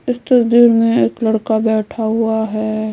इस तसदीर एक लड़का बैठा हुआ है।